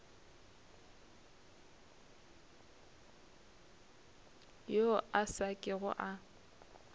yo a sa kego a